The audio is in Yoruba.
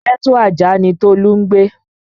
Ghetto Ajah ni Tolu ń gbé